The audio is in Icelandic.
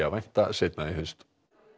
að vænta seinna í haust